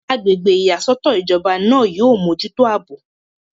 agbègbè ìyàsọ́tọ̀ ìjọba náà yóò mójútó àbò